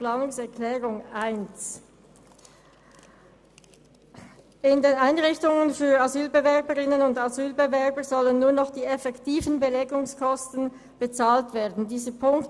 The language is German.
Die Planungserklärung 1 wurde mit 7 zu 10 Stimmen abgelehnt, der Abänderungsantrag 2 mit 5 zu 12 Stimmen, der Abänderungsantrag 3 mit 6 zu 10 Stimmen bei 1 Enthaltung und die Planungserklärung 4 mit 6 zu 10 Stimmen bei 1 Enthaltung.